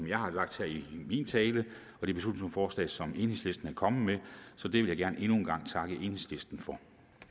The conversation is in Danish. jeg har lagt i min tale og det beslutningsforslag som enhedslisten er kommet med så det vil jeg endnu en gang gerne takke enhedslisten for